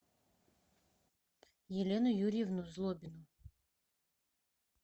елену юрьевну злобину